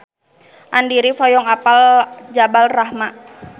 Andy rif hoyong apal Jabal Rahmah